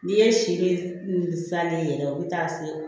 N'i ye sirilen yɛrɛ u bɛ taa se